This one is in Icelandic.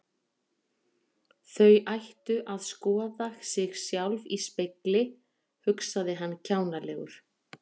Þau ættu að skoða sig sjálf í spegli, hugsaði hann kjánalegur.